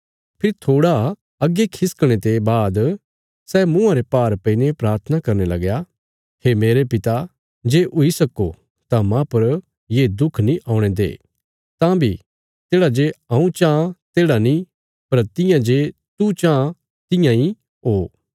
फेरी थोड़ा अग्गे खिसकणे ते बाद सै मुँआं रे भार पैईने प्राथना करने लगया हे मेरे पिता जे हुई सक्को तां माह पर ये दुख नीं औणे दे तां बी तेढ़ा जे हऊँ चाँह तेढ़ा नीं पर तियां जे तू चाँह तियां इ ओ